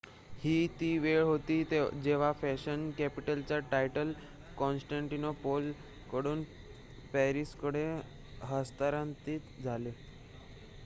ही ती वेळ होती जेव्हा फॅशन कॅपिटलचे टायटल कॉन्स्टँटिनोपल कडून पॅरिसकडे हस्तांतरित झाले